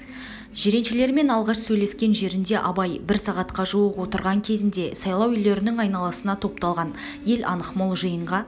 жиреншелермен алғаш сөйлескен жерінде абай бір сағатқа жуық отырған кезінде сайлау үйлерінің айналасына топталған ел анық мол жиынға